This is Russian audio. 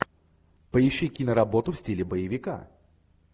поищи киноработу в стиле боевика